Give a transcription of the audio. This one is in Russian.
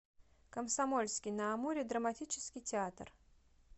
комсомольский на амуре драматический театр